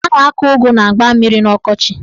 A na-akọ ụgụ na mgba mmiri n'ọkọchị.